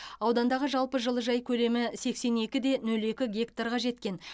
аудандағы жалпы жылыжай көлемі сексен екіде нөл екі гектарға жеткен